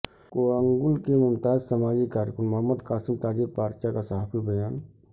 کوڑنگل کے ممتاز سماجی کارکن محمد قاسم تاجر پارچہ کا صحافتی بیان